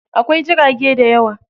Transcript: Akwai jirage dayawa.